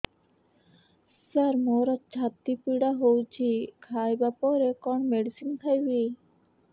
ସାର ମୋର ଛାତି ପୀଡା ହଉଚି ଖାଇବା ପରେ କଣ ମେଡିସିନ ଖାଇବି